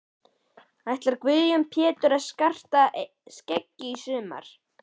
Ætlar Guðjón Pétur að skarta skeggi í sumar?